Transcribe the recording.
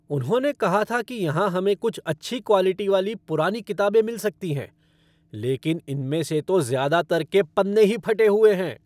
उन्होंने कहा था कि यहां हमें कुछ अच्छी क्वालिटी वाली पुरानी किताबें मिल सकती हैं, लेकिन इनमें से तो ज़्यादातर के पन्ने ही फटे हुए हैं।